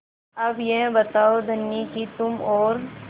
अब यह बताओ धनी कि तुम और